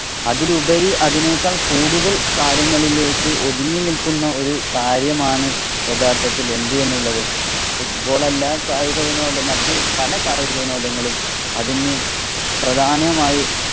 അതിലുപരി അതെനേക്കാള്‍ കൂടുതല്‍ കാര്യങ്ങളിലേക്ക് ഒതുങ്ങി നില്‍ക്കുന്ന ഒരു കാര്യമാണ് യഥാര്‍ത്ഥത്തില്‍ എന്തു ചെയ്യും എന്നുള്ളത്. Football അല്ലാ കായികവിനോദം മറ്റു പല കായിക വിനോദങ്ങളും അതിനു പ്രധാനമായി